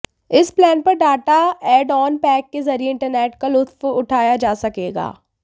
इस प्लान पर data add on pack के जरिए इंटरनेट का लुत्फ उठाया जा सकेगा